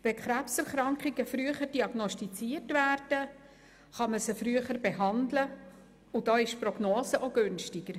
Wenn Krebserkrankungen früher diagnostiziert werden, kann man sie früher behandeln und die Prognose ist günstiger.